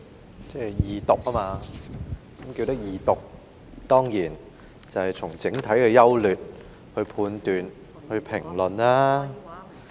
代理主席，在二讀辯論時，議員當然就法案的整體優劣作判斷和評論。